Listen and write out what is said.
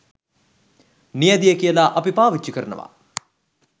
නියැදිය කියලා අපි පාවිච්චි කරනවා